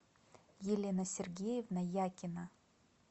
елена сергеевна якина